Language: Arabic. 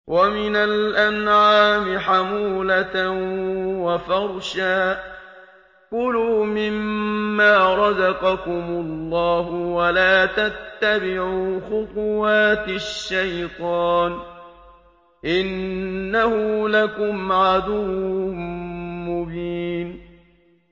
وَمِنَ الْأَنْعَامِ حَمُولَةً وَفَرْشًا ۚ كُلُوا مِمَّا رَزَقَكُمُ اللَّهُ وَلَا تَتَّبِعُوا خُطُوَاتِ الشَّيْطَانِ ۚ إِنَّهُ لَكُمْ عَدُوٌّ مُّبِينٌ